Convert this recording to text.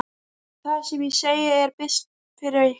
Það sem ég segi er best fyrir ykkur.